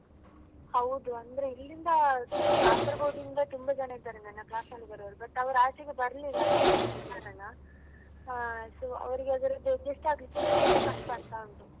ಹೌದು ಅಂದ್ರೆ ಇಲ್ಲಿಂದ Kasaragod ಇಂದ ತುಂಬಾ ಜನ ಇದ್ದಾರೆ ನನ್ನ class ಲ್ಲಿ ಇದ್ದಾರೆ ಅವ್ರು but ಅವ್ರು ಆಚೆಗೆ ಬರ್ಲಿಲ್ಲ ಆದ ಕಾರಣ ಹಾ so ಅವ್ರಿಗೆ ಅದ್ರದ್ದು adjust ಆಗ್ಲಿಕ್ಕೆ ತುಂಬ ಕಷ್ಟ ಆಗ್ತ ಉಂಟು.